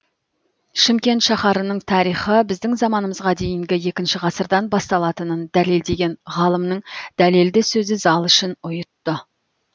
шымкент шаһарының тарихы біздің заманымызға дейінгі екінші ғасырдан басталатынын дәлелдеген ғалымның дәлелді сөзі зал ішін ұйытты